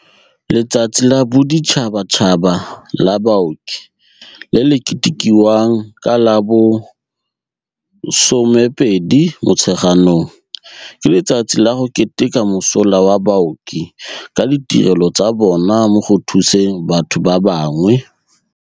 Letsatsi la Boditšhaba tšhaba la Baoki, le le ketekiwang ka la bo 12 Motsheganong, ke letsatsi la go keteka mosola wa baoki ka ditirelo tsa bona mo go thuseng batho ba bangwe.